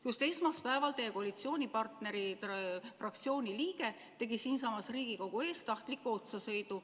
Just esmaspäeval teie koalitsioonipartneri fraktsiooni liige sõitis siinsamas Riigikogu ees tahtlikult inimesele otsa.